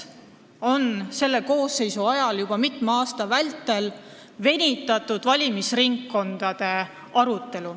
Selle koosseisu ajal on juba mitu aastat venitatud valimisringkondade arutelu.